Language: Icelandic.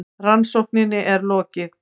Rannsókninni er lokið!